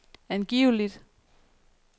angiveligt